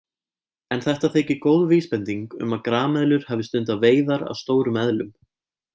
En þetta þykir góð vísbending um að grameðlur hafi stundað veiðar á stórum eðlum.